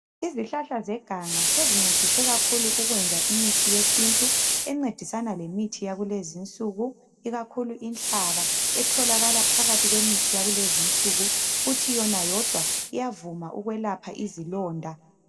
Izihlahla zeganga zezincedise kakhulu ukwenza imithi yesintu encedisana lemithi yakulenzi insuku ikakhulu inhlaba etholakala phakathi kwemithi yakulezi insuku futhi yona yodwa iyavuma ikwelapha izilonda.